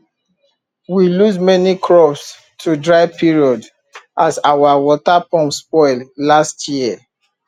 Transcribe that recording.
we lose many crops to dry period as our water pump spoil last year